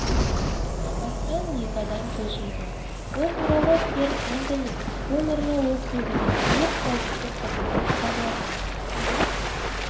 апаттан екі адам көз жұмған бұл туралы керн энтони ромеро округінің өрт қауіпсіздік қызметі хабарлады оның